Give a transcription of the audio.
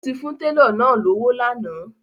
O ti fún tẹlọ náà lọ́wọ́ lànà